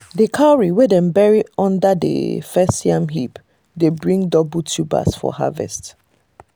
the cowrie wey wey dem bury under the first yam heap dey bring double tubers for harvest.